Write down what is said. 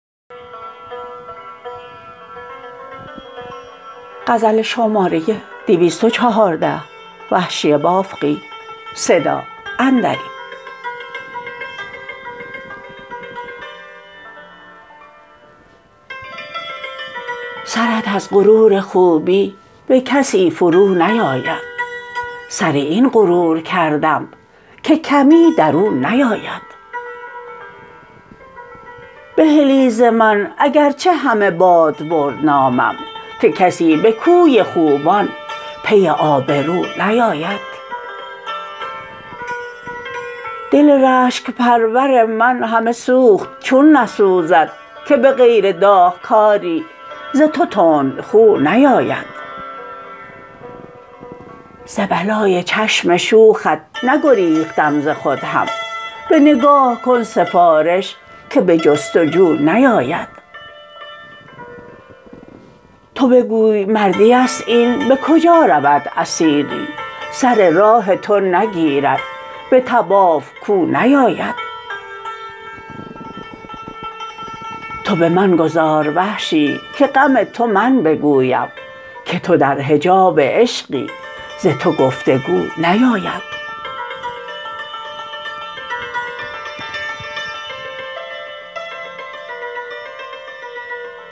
سرت از غرور خوبی به کسی فرو نیاید سر این غرور کردم که کمی درو نیاید بحلی ز من اگر چه همه باد برد نامم که کسی به کوی خوبان پی آبرو نیاید دل رشک پرور من همه سوخت چون نسوزد که بغیر داغ کاری ز تو تند خو نیاید ز بلای چشم شوخت نگریختم ز خود هم به نگاه کن سفارش که به جستجو نیاید تو بگوی مردی است این به کجا رود اسیری سر راه تو نگیرد به طواف کو نیاید تو به من گذار وحشی که غم تو من بگویم که تو در حجاب عشقی ز تو گفتگو نیاید